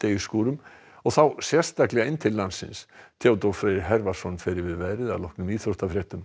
síðdegisskúrum og þá sérstaklega inn til landsins Theodór Freyr fer yfir veðrið að loknum íþróttafréttum